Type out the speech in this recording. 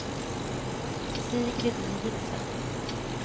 Sigrid Nielsen